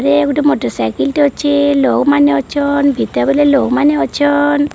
Motor cycle ଟେ ଅଛି। ଲୋ ମାନେ ଅଛ ଇଟା ବୋଲେ ଲୋ ମାନେ ଅଛନ।